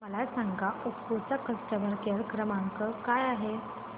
मला सांगा ओप्पो चा कस्टमर केअर क्रमांक काय आहे